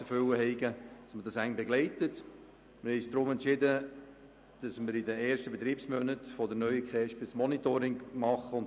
Deshalb haben wir entschieden, in den ersten Betriebsmonaten der neuen KESB ein Monitoring zu machen.